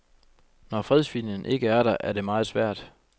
Når fredsviljen ikke er der, er det meget svært.